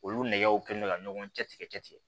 Olu nɛgɛw kɛlen don ka ɲɔgɔn cɛtigɛ